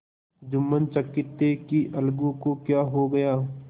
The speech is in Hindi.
जुम्मन चकित थे कि अलगू को क्या हो गया